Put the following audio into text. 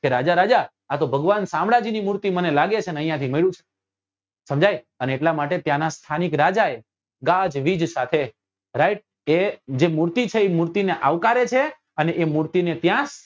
કે રાજા રાજા આતો ભગવાન શામળાજી ની મૂર્તિ મને લાગે છે ને અહિયાં થી મળ્યું છે સમજાય છે અને એટલા માટે ત્યાં નાં સ્થાનિક રાજા એ ગાજવીજ સાથે right કે એ મૂર્તિ જે છે એ મૂર્તિ ને આવકારે છે અને એ મૂર્તિ ને ત્યાં